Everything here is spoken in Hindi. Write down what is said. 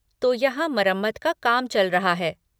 तो यहाँ मरम्मत का काम चल रहा है।